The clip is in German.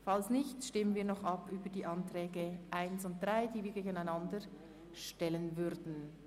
Falls der Antrag 2 abgelehnt wird, stellen wir die Planungserklärungen 1 und 3 einander gegenüber.